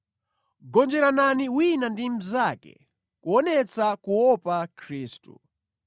Gonjeranani wina ndi mnzake, kuonetsa kuopa Khristu.